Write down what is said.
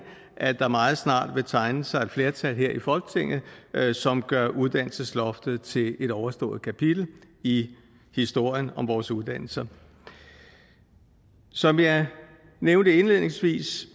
at der meget snart vil tegne sig et flertal her i folketinget som gør uddannelsesloftet til et overstået kapitel i historien om vores uddannelser som jeg nævnte indledningsvis